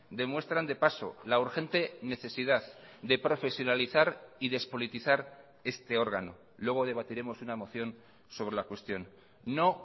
demuestran de paso la urgente necesidad de profesionalizar y despolitizar este órgano luego debatiremos una moción sobre la cuestión no